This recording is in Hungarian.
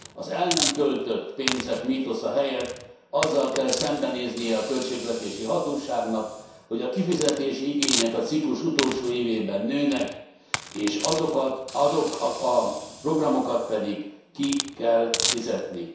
Az el nem költött pénzek mítosza helyett azzal kell szembenéznie a költségvetési hatóságnak, hogy a kifizetési igények a ciklus utolsó évében nőnek, és azokat a programokat pedig ki kell fizetni.